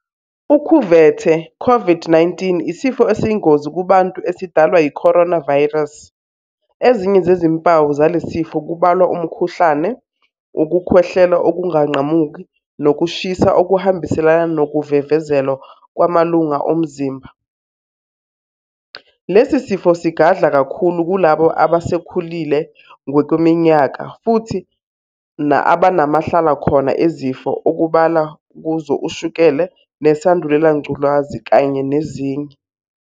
Ukhuvethe, Covid-19, isifo esiyingozi kubantu esidalwa yi-coronavirus, ezinye zezimpawu zalesisifo kubalwa umkhuhlane, ukukhwehlela okunganqamuki nokushisa okuhambiselana nokuvevezela kwamalunga omzimba. Lesi sifo sigadla kakhulu kulabo abasebekhulile ngokweminyaka futhi abanamahlalakhona ezifo okubala kuzo ushukela, nesandulelangculazi kanye nezinye.